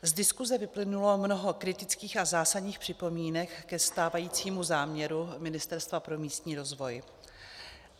Z diskuse vyplynulo mnoho kritických a zásadních připomínek ke stávajícímu záměru Ministerstva pro místní rozvoj.